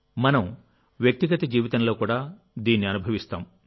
మనం వ్యక్తిగత జీవితంలో కూడా దీన్ని అనుభవిస్తాం